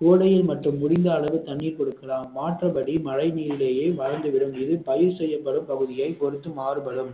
கோடையில் மட்டும் முடிந்த அளவு தண்ணீர் கொடுக்கலாம் மாற்றபடி மழை நீரிலேயே வளர்ந்து விடும் பயிர் செய்யப்படும் பகுதியை பொறுத்து மாறுபடும்